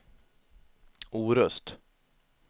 Orust